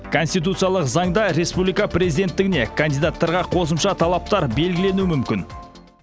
конституциялық заңда республика президенттігіне кандидаттарға қосымша талаптар белгіленуі мүмкін